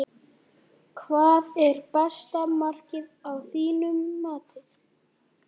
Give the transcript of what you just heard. Hvað er besta markið að þínu mati?